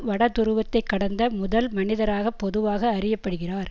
வட துருவத்தை கடந்த முதல் மனிதராக பொதுவாக அறிய படுகிறார்